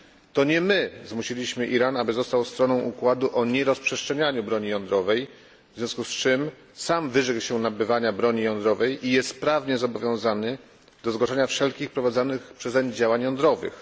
To nie my zmusiliśmy Iran, aby został stroną układu o nierozprzestrzenianiu broni jądrowej, w związku z czym sam wyrzekł się nabywania broni jądrowej i jest prawnie zobowiązany do zgłaszania wszelkich prowadzonych przezeń działań jądrowych.